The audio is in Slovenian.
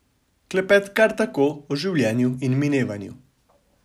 Klepet kar tako, o življenju in minevanju.